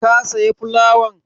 Ka saya fulawan?